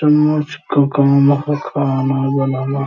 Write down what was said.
का खाना बनाना।